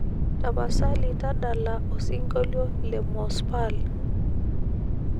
tapasali tadala osingolio le mos pal